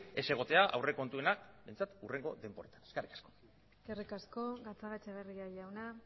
ez egotea aurrekontuena behintzat hurrengo denboretan eskerrik asko eskerrik asko gatzagaetxebarria jauna